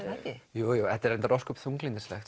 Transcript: jú jú þetta er reyndar ósköp þunglyndislegt